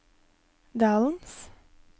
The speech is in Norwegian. dalens